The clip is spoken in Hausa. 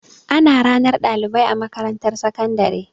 Ana ranar ɗalibai a makarantar sakandare.